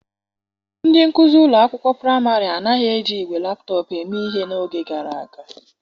Ndị nkuzi ụlọ akwụkwọ praịmarị anaghị eji igwe laptọpụ eme ihe n'oge gara aga.